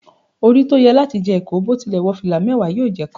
Ori to ye lati je iko, bo tile wo fila mewa, yoo je kan.